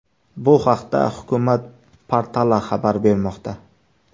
Bu haqda Hukumat portali xabar bermoqda .